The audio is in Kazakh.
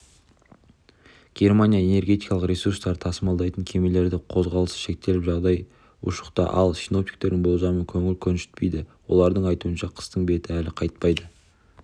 германияда энергетикалық ресурстарды тасымалдайтын кемелердің қозғалысы шектеліп жағдай ушықты ал синоптиктердің болжамы көңіл көншітпейді олардың айтуынша қыстың беті әлі қайтпайды